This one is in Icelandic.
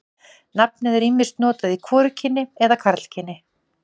Nafnið er ýmist notað í hvorugkyni eða karlkyni.